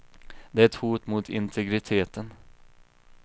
Det är ett hot mot integriteten.